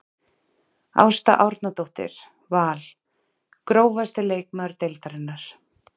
Ásta Árnadóttir Val Grófasti leikmaður deildarinnar?